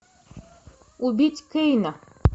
убить кейна